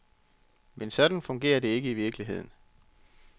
Men sådan fungerer det ikke i virkeligheden.